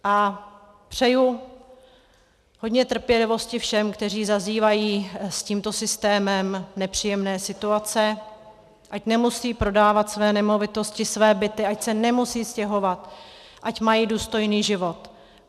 A přeji hodně trpělivosti všem, kteří zažívají s tímto systémem nepříjemné situace, ať nemusí prodávat své nemovitosti, své byty, ať se nemusí stěhovat, ať mají důstojný život.